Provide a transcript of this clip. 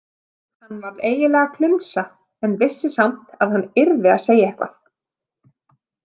Hann varð eiginlega klumsa en vissi samt að hann yrði að segja eitthvað.